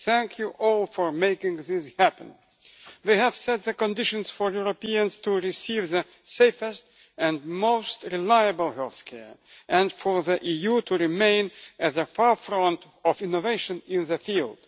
Thank you all for making this happen. We have set the conditions for Europeans to receive the safest and most reliable healthcare, and for the EU to remain at the forefront of innovation in the field.